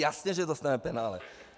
Jasně že dostaneme penále.